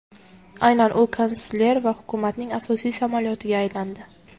Aynan u kansler va hukumatning asosiy samolyotiga aylandi.